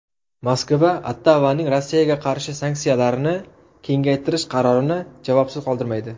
Moskva Ottavaning Rossiyaga qarshi sanksiyalarni kengaytirish qarorini javobsiz qoldirmaydi.